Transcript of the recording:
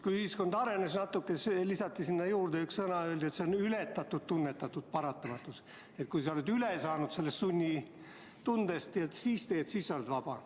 Kui ühiskond natuke arenes, lisati määratlusele üks sõna juurde ja öeldi, et see on ületatud tunnetatud paratamatus: kui oled sunni tundest üle saanud ja siis teed seda, mida pead, siis oled vaba.